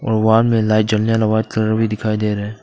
White colour भी दिखाई दे रहा है।